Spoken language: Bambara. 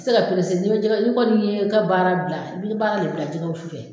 Se ga perese ni be jɛgɛ ni kɔni ye i ka baara bila i bi baara de bila jɛgɛ wusu fɛ